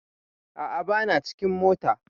A'a ba na cikin mota